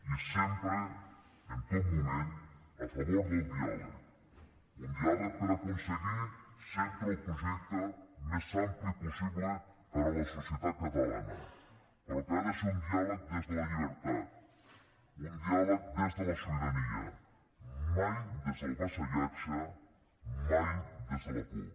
i sempre en tot moment a favor del diàleg un diàleg per aconseguir sempre el projecte més ampli possible per a la societat catalana però que ha de ser un diàleg des de la llibertat un diàleg des de la sobirania mai des del vassallatge mai des de la por